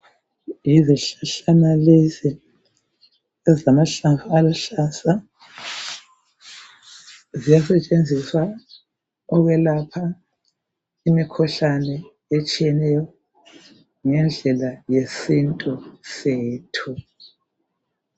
Yizihlahlana lezi ezilamahlamvu aluhlaza, ziyasetshenziswa ukwelapha imikhuhlane etshiyeneyo ngendlela yesintu sethu.